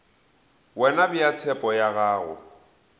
wena bea tshepo ya gago